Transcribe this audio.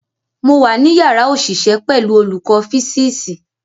Mo wà ní yàrá òṣìṣẹ́ pẹ̀lú olùkọ́ físíìsì.